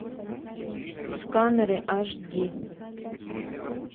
сканеры аш ди